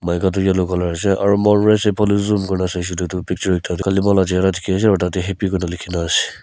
maika tu yellow colour ase aru mor laga sopa leju picture happy Kona lekhi kina ase.